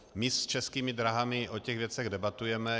My s Českými dráhami o těch věcech debatujeme.